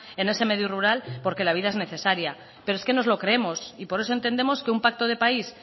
en ese medio rural porque la vida es necesaria pero es que nos lo creemos y por eso entendemos que un pacto de país